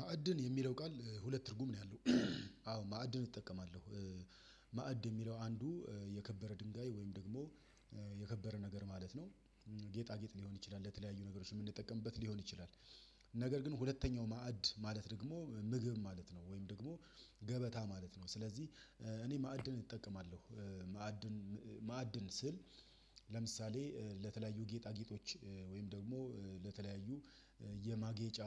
ማዕድን የሚለው ቃል ሁለት ትርጉም ነው ያለው። አዎ ማዕድን እጠቀማለሁ። ማዕድ የሚለው አንዱ የከበረ ድንጋይ ወይም ደግሞ የከበረ ነገር ማለት ነው። ጌጣጌጥ ሊሆን ይችላል ለተለያዩ ነገሮች የምንጠቀምበት ሊሆን ይችላል። ነገር ግን ሁለተኛው ማዕድ ማለት ደግሞ ምግብ ማለት ነው ወይም ደግሞ ገበታ ማለት ነው። ስለዚህ እኔ ማዕድን እጠቀማለሁ ማዕድን ማዕድን ስል ለምሳሌ ለተለያዩ ጌጣጌጦች ወይም ደግሞ ለተለያዩ የማጌጫ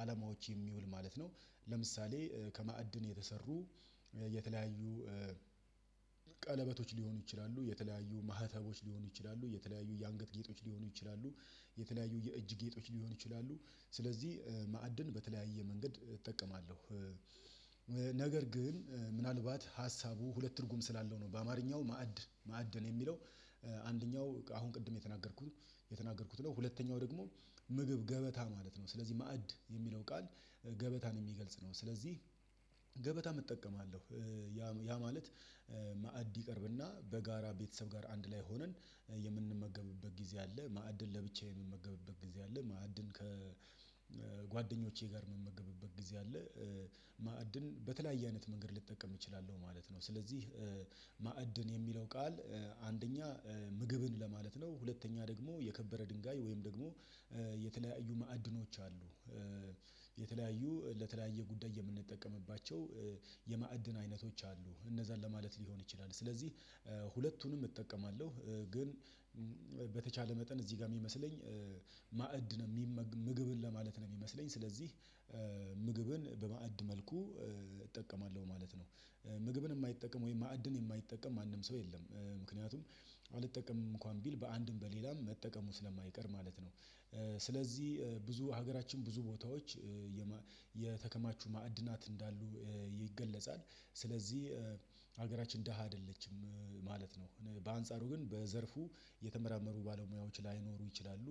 አለማዎች የሚውል ማለት ነው። ለምሳሌ ከማዕድን የተሰሩ የተለያዩ ቀለበቶች ሊሆኑ ይችላሉ የተለያዩ ማህተቦች ሊሆኑ ይችላሉ የተለያዩ የአንገት ጌጦች ሊሆኑ ይችላሉ የተለያዩ የእጅ ጌጦች ሊሆኑ ይችላሉ ስለዚህ ማዕድን በተለያየ መንገድ እጠቀማለሁ። ነገር ግን ምናልባት ሀሳቡ ሁለት ትርጉም ስላለው ነው በአማርኛው ማዕድ ማዕድን የሚለው አንደኛው አሁን ቅድም የተናገርኩት የተናገርኩት ነው። ሁለተኛው ደግሞ ምግብ ገበታ ማለት ነው ስለዚህ ማዕድ የሚለው ቃል ገበታን የሚገልጽ ነው ስለዚህ ገበታም እጠቀማለሁ። ያ ማለት ማዕድ ይቀርብና በጋራ ቤተሰብ ጋር አንድ ላይ ሆነን የምንመገብበት ጊዜ አለ ማዕድን ለብቻዬ የምንመገብበት ጊዜ አለ ማዕድን ከጓደኞቼ ጋር ምመገብበት ጊዜ አለ። ማዕድን በተለያየ አይነት መንገድ ልጠቀም እችላለሁ ማለት ነው። ስለዚህ ማዕድን የሚለው ቃል አንደኛ ምግብን ለማለት ነው ሁለተኛ ደግሞ የከበረ ድንጋይ ወይም ደግሞ የተለያዩ ማዕድኖች አሉ። የተለያዩ ለተለያየ ጉዳይ የምንጠቀምባቸው የማዕድን አይነቶች አሉ እነዛን ለማለት ሊሆን ይችላል ስለዚህ ሁለቱንም እጠቀማለሁ። ግን በተቻለ መጠን እዚህ ጋር የሚመስለኝ ማዕድ ነው የሚመ ምግብን ለማለት ነው የሚመስለኝ ስለዚህ ምግብን በማዕድ መልኩ እጠቀማለሁ ማለት ነው። ምግብን የማይጠቀም ወይም ማዕድን የማይጠቀም ማንም ሰው የለም። ምክንያቱም አልጠቀምም እንኳን ቢል በአንድም በሌላም መጠቀሙ ስለማይቀር ማለት ነው። ስለዚህ ብዙ ሀገራችን ብዙ ቦታዎች ማዕድናት እንዳሉ ይገለጻል። ስለዚህ ሀገራችን ደሃ አይደለችም ማለት ነው። በአንጻሩ ግን በዘርፉ የተመራመሩ ባለሙያዎች ላይኖሩ ይችላሉ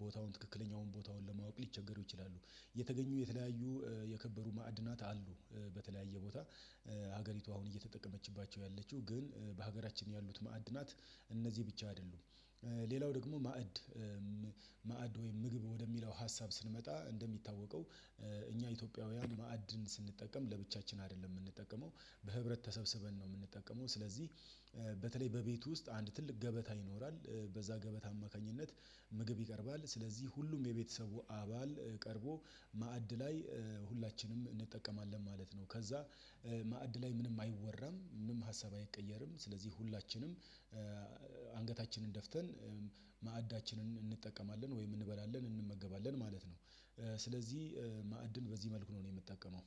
ቦታውን ትክክለኛውን ቦታውን ለማወቅ ሊቸገሩ ይችላሉ። የተገኙ የተለያዩ የከበሩ ማዕድናት አሉ። በተለያየ ቦታ ሀገሪቱ አሁን እየተጠቀመችባቸው ያለችው ግን በሀገራችን ያሉት ማዕድናት እነዚህ ብቻ አይደሉም። ሌላው ደግሞ ማዕድ ማዕድ ወይም ምግብ ወደሚለው ሀሳብ ስንመጣ እንደሚታወቀው እኛ ኢትዮጵያውያን ማዕድን ስንጠቀም ለብቻችን አይደለም የምንጠቀመው በህብረት ተሰብስበን ነው። የምንጠቀመው ስለዚህ በተለይ በቤቱ ውስጥ አንድ ትልቅ ገበታ ይኖራል በዛ ገበታ አማካኝነት ምግብ ይቀርባል ስለዚህ ሁሉም የቤተሰቡ አባል ቀርቦ ማዕድ ላይ ሁላችንም እንጠቀማለን ማለት ነው። ከዛ ማዕድ ላይ ምንም አይወረም ምንም ሀሳብ አይቀየርም ስለዚህ ሁላችንም አንገታችንን ደፍተን ማዕዳችንን እንጠቀማለን ወይም እንበላለን እንመገባለን ማለት ነው። ስለዚህ ማዕድን በዚህ መልኩ ነው እኔ የምጠቀመው